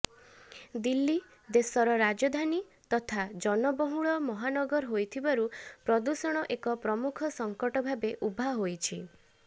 ଦିଲ୍ଲୀ ଦେଶର ରାଜଧାନୀ ତଥା ଜନବହୁଳ ମହାନଗର ହୋଇଥିବାରୁ ପ୍ରଦୂଷଣ ଏକ ପ୍ରମୁଖ ସଙ୍କଟ ଭାବେ ଉଭା ହୋଇଛି